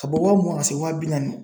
Ka bɔ waa mugan ka se waa bi naani ma .